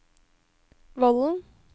Vollen